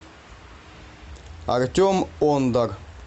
артем ондар